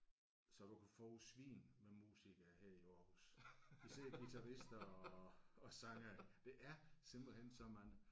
Så du kan få svin med musikere her i Aarhus. Især guitarister og og sangere der er simpelthen så mange